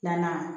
Filanan